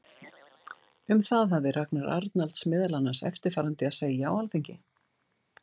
Um það hafði Ragnar Arnalds meðal annars eftirfarandi að segja á Alþingi